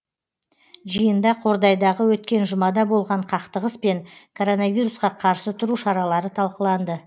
жиында қордайдағы өткен жұмада болған қақтығыс пен коронавирусқа қарсы тұру шаралары талқыланды